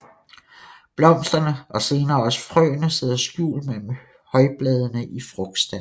Blomsterne og senere også frøene sidder skjult mellem højbladene i frugtstanden